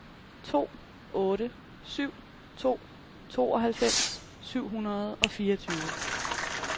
to otte syv to tooghalvfems syv hundrede og fireogtyve